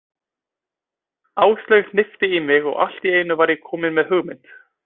Áslaug hnippti í mig og allt í einu var ég kominn með hugmynd.